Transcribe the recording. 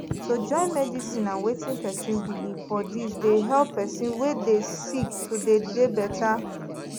to join medicine and wetin pesin believe for dis dey help pesin wey dey sick to dey dey better